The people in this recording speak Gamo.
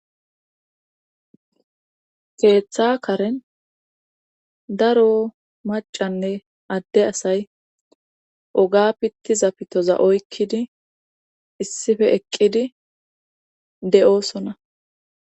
keeththa karen daro macanne adde asay oga pitti zapitoza oykkidi issife eqqidi de7oosona